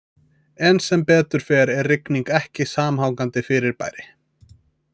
En sem betur fer er rigning ekki samhangandi fyrirbæri.